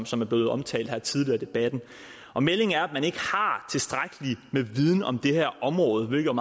som er blevet omtalt her tidligere i debatten og meldingen er at man ikke har tilstrækkelig med viden om det her område hvilket